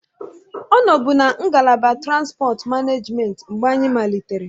Ọ nọbu na ngalaba transipọt manejment mgbe anyị malitere